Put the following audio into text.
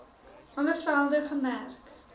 alle velde gemerk